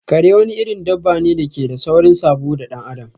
Kare wani irin dabane dake da saurin sabo da dan adam